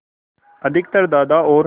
अधिकतर दादा और